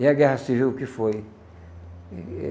E a Guerra Civil o que foi?